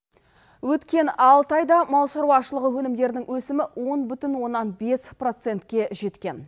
өткен алты айда мал шаруашылығы өнімдерінің өсімі он бүтін оннан бес процентке жеткен